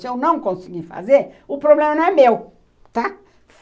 Se eu não conseguir fazer, o problema não é meu, tá?